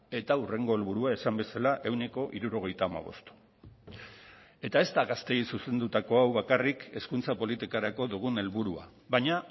eta hurrengo helburua esan bezala ehuneko hirurogeita hamabost eta ez da gazteei zuzendutako hau bakarrik hezkuntza politikarako dugun helburua baina